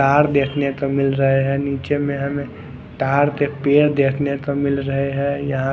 तार देखें को मिल रहा है नीचे में तार के पैर देखने को मिल रहे है यहाँ --